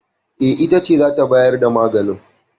E, ita ce za ta bayar da magani.